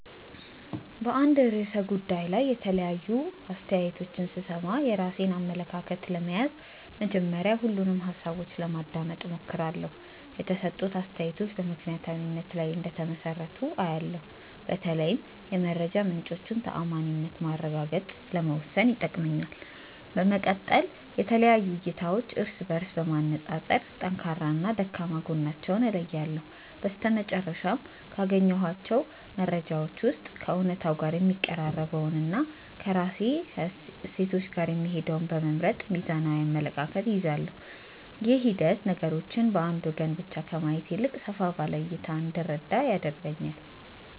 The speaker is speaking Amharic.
በአንድ ርዕሰ ጉዳይ ላይ የተለያዩ አስተያየቶችን ስሰማ፣ የራሴን አመለካከት ለመያዝ መጀመሪያ ሁሉንም ሃሳቦች ለማዳመጥ እሞክራለሁ። የተሰጡት አስተያየቶች በምክንያታዊነት ላይ እንደተመሰረቱ አያለው፤ በተለይም የመረጃ ምንጮቹን ተዓማኒነት ማረጋገጥ ለመወሰን ይጠቅመኛል። በመቀጠል የተለያዩ እይታዎችን እርስ በእርስ በማነፃፀር ጠንካራና ደካማ ጎናቸውን እለያለሁ። በመጨረሻም፣ ካገኘኋቸው መረጃዎች ውስጥ ከእውነታው ጋር የሚቀራረበውንና ከራሴ እሴቶች ጋር የሚሄደውን በመምረጥ ሚዛናዊ አመለካከት እይዛለሁ። ይህ ሂደት ነገሮችን በአንድ ወገን ብቻ ከማየት ይልቅ ሰፋ ባለ እይታ እንድረዳ ይረዳኛል።